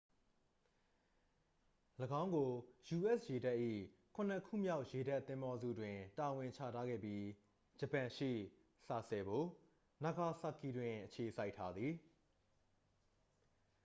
၎င်းကို u.s. ရေတပ်၏ ခုနစ်ခုမြောက် ရေတပ်သင်္ဘောစုတွင် တာဝန်ချထားခဲ့ပြီး ဂျပန်ရှိ sasebo nagasaki တွင် အခြေစိုက်ထားသည်